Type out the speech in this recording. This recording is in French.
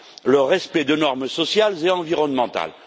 le respect de normes sociales et environnementales.